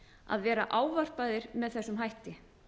að vera ávarpaðir með þessum hætti